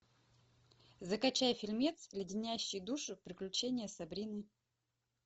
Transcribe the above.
закачай фильмец леденящие душу приключения сабрины